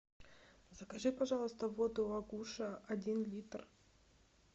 закажи пожалуйста воду агуша один литр